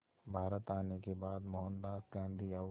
भारत आने के बाद मोहनदास गांधी और